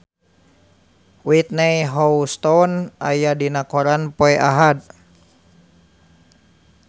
Whitney Houston aya dina koran poe Ahad